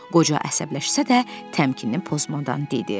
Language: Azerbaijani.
Qoca əsəbləşsə də, təmkinini pozmadan dedi: